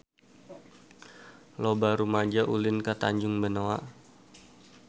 Loba rumaja ulin ka Tanjung Benoa